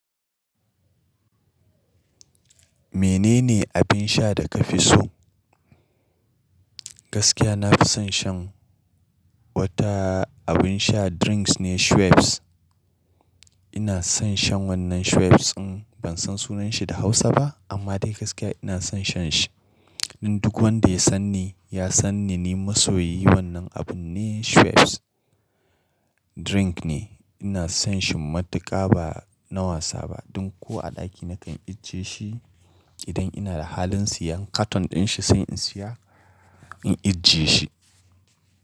Menene abin sha da kafi so? Gaskiya nafi son shan wata abin sha drinks ne Schweppes. Ina son shan wannan Schweppes in ban san sunan shi da Hausa ba amma dai gaskiya ina son shan shi. Duk wanda ya sanni, ya sanni ni masoyi wannan abun ne Schweppes drink ne. Ina son shi matuƙa ba na wasa ba. Ɗin ko a ɗaki na kan icce shi idan ina da halin siyan katon din shi sai in siya in icce shi.